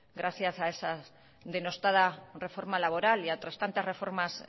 gracias a esa denostada reforma laboral y a otras tantas reformas